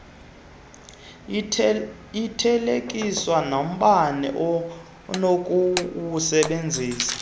ithelekiswa nombane onokuwusebenzisa